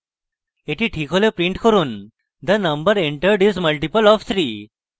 the ঠিক হলে print করুন the number entered is multiple of 3